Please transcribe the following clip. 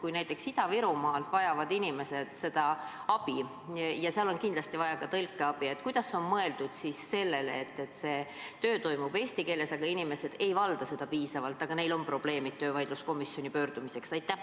Kui näiteks Ida-Virumaal vajavad inimesed seda abi – ja seal on kindlasti vaja ka tõlkeabi –, kuidas siis on mõeldud: töö toimub eesti keeles, aga inimesed ei valda seda piisavalt, ometi neil on probleemid, millega nad tahavad töövaidluskomisjoni pöörduda?